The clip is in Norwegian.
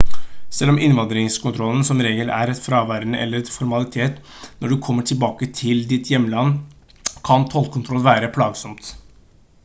selv om innvandringskontrollen som regel er fraværende eller en formalitet når du kommer tilbake til ditt hjemland kan tollkontroll være plagsomt